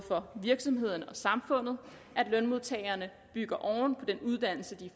virksomhederne og samfundet at lønmodtagerne bygger oven på den uddannelse de